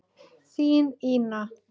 Þín Ína.